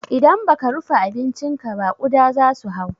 Idan baka rufe abincinka ba kuɗa zasu hau.